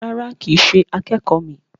Rárá, kìí ṣe akẹ́kọ̀ míì.